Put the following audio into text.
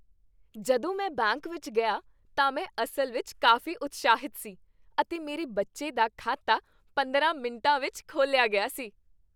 ਜਦੋਂ ਮੈਂ ਬੈਂਕ ਵਿੱਚ ਗਿਆ ਤਾਂ ਮੈਂ ਅਸਲ ਵਿੱਚ ਕਾਫ਼ੀ ਉਤਸ਼ਾਹਿਤ ਸੀ, ਅਤੇ ਮੇਰੇ ਬੱਚੇ ਦਾ ਖਾਤਾ ਪੰਦਰਾਂ ਮਿੰਟਾਂ ਵਿੱਚ ਖੋਲ੍ਹਿਆ ਗਿਆ ਸੀ।